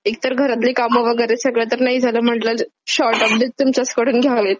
एकतर घरातलेही काम वगैरे सगळं तर नाही झालं म्हटलं, शॉर्ट अपडेट तुमच्याचकडून घ्यावेत.